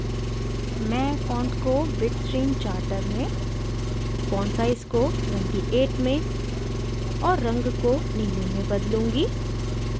मैं फॉन्ट को bitstream charter में फॉन्ट साइज को 28 में और रंग को नीले में बदलूँगी